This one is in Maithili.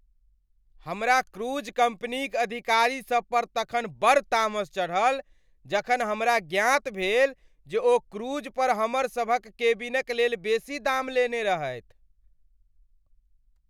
हमरा क्रूज कम्पनीक अधिकारीसभ पर तखन बड़ तामस चढ़ल जखन हमरा ज्ञात भेल जे ओ क्रूज पर हमर सभक केबिनक लेल बेसी दाम लेने रहथि।